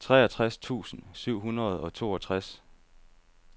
toogtres tusind syv hundrede og toogtres